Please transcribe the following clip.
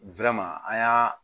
an y'a